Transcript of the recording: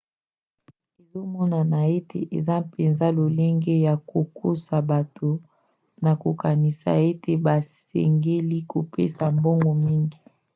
ezomonana ete eza mpenza lolenge ya kokosa bato na kokanisa ete basengeli kopesa mbongo mingi